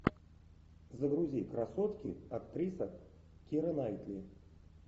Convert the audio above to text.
загрузи красотки актриса кира найтли